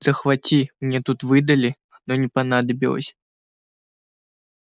захвати мне тут выдали но не понадобилось